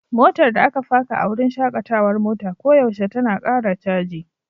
Motar da aka faka a wurin shakatawar mota koyaushe tana ƙara caji.